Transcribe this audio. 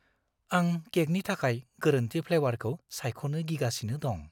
आं केकनि थाखाय गोरोन्थि फ्लेवारखौ सायख'नो गिगासिनो दं।